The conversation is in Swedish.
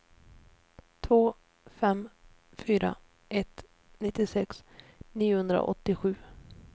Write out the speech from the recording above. två fem fyra ett nittiosex niohundraåttiosju